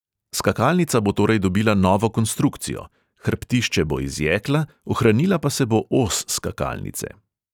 Skakalnica bo torej dobila novo konstrukcijo, hrbtišče bo iz jekla, ohranila pa se bo os skakalnice.